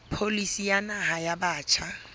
pholisi ya naha ya batjha